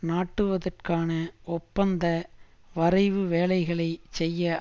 நாட்டுவதற்கான ஒப்பந்த வரைவு வேலைகளை செய்ய